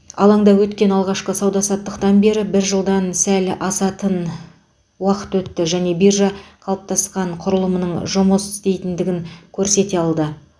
алаңда өткен алғашқы сауда саттықтан бері бір жылдан сәл асатын уақыт өтті және биржа қалыптасқан құрылымының жұмыс істейтіндігін көрсете алды